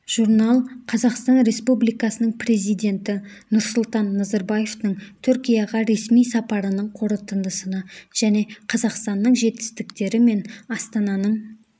журнал қазақстан республикасының президенті нұрсұлтан назарбаевтың түркияға ресми сапарының қорытындысына және қазақстанның жетістіктері мен астананың